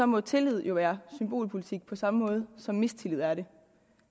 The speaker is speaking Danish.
må tillid jo være symbolpolitik på samme måde som mistillid er det